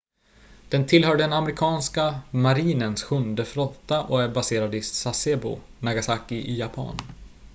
den tillhör den amerikanska marinens sjunde flotta och är baserad i sasebo nagasaki i japan